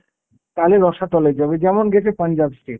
তালে রসাতলে যাবে যেমন গেছে পাঞ্জাব state.